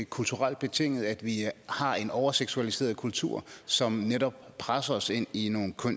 kulturelt betinget at vi har en overseksualiseret kultur som netop presser os ind i nogle